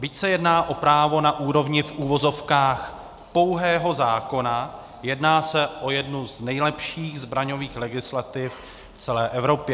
Byť se jedná o právo na úrovni v uvozovkách pouhého zákona, jedná se o jednu z nejlepších zbraňových legislativ v celé Evropě.